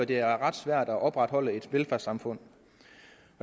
det ret svært at opretholde et velfærdssamfund